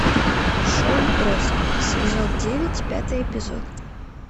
шоу троцкий сезон девять пятый эпизод